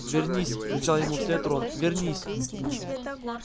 вернись кричал ему вслед рон вернись